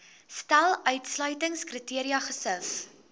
stel uitsluitingskriteria gesif